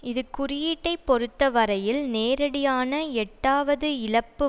இது குறியீட்டை பொறுத்தவரையில் நேரடியான எட்டாவது இழப்பு